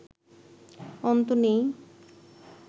অন্ত নেই